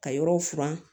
Ka yɔrɔw furan